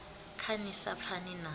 khe ni sa pfani na